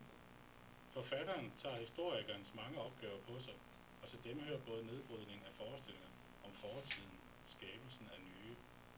Forfatteren tager historikerens mange opgaver på sig, og til dem hører både nedbrydningen af forestillinger om fortiden skabelsen af nye.